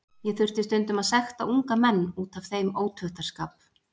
Ég þurfti stundum að sekta unga menn út af þeim ótuktarskap.